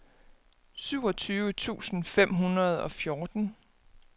syvogtyve tusind fem hundrede og fjorten